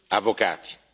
avvocati.